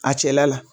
A cɛla la